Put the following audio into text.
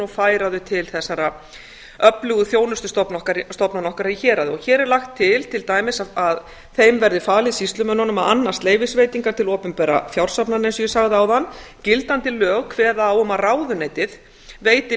færa þau til þessara öflugu þjónustustofnana okkar í héraði hér er lagt til til dæmis að þeim verði falið sýslumönnunum að annast leyfisveitingar til opinberra fjársafnana eins og ég sagði áðan gildandi lög kveða á um að ráðuneytið veiti